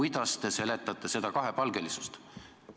Kuidas te seletate seda kahepalgelisust?